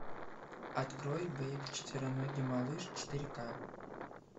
открой бэйб четвероногий малыш четыре ка